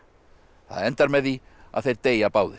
það endar með því að þeir deyja báðir